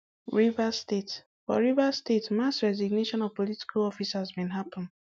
rivers statefor rivers state mass resignation of political officers bin happun